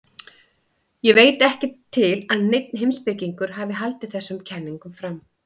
Ég veit ekki til að neinn heimspekingur hafi haldið þessum kenningum fram.